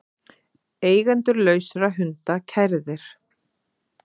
Eigendur lausra hunda kærðir